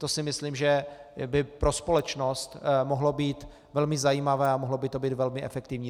To si myslím, že by pro společnost mohlo být velmi zajímavé a mohlo by to být velmi efektivní.